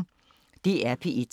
DR P1